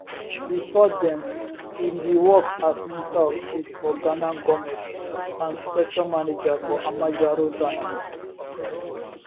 bifor dem e bin work as minister of state for ghana goment and sector manager for amajaro ghana